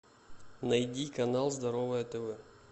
найди канал здоровое тв